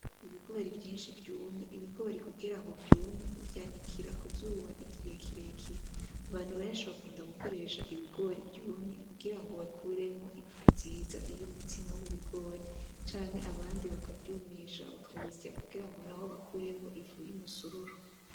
Ibigori vyinshi vyumvye, ibigori kugira ngo vyume uvyanikira ku zuba igihe kirekire, abantu benshi bakunda gukoresha ibigori vyumye kugira ngo bakuremwo ifu nziza y'umutsima w'ibigori canke abandi bakavyumisha bakabisya kugira ngo nabo bakuremwo ifu y'umusururu.